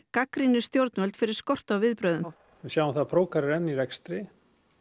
gagnrýnir stjórnvöld fyrir skort á viðbrögðum við sjáum það að Procar er enn í rekstri